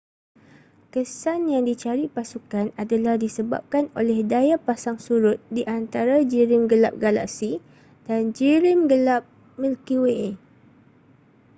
kesan yang dicari pasukan adalah disebabkan oleh daya pasang surut di antara jirim gelap galaksi dan jirim gelap milky way